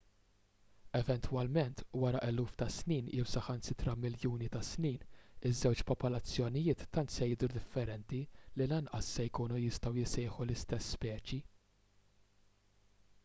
eventwalment wara eluf ta' snin jew saħansitra miljuni ta' snin iż-żewġ popolazzjonijiet tant se jidhru differenti li lanqas se jkunu jistgħu jissejħu l-istess speċi